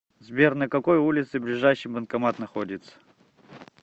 сбер на какой улице ближайший банкомат находится